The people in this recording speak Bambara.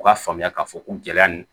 U k'a faamuya k'a fɔ ko gɛlɛya ni